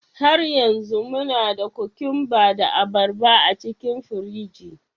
Har yanzu muna da cucumbers da abarba a cikin firiji?